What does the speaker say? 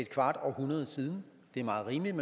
kvart århundrede siden det er meget rimeligt